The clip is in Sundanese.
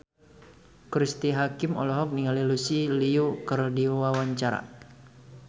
Cristine Hakim olohok ningali Lucy Liu keur diwawancara